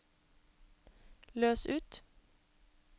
løs ut